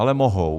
Ale mohou.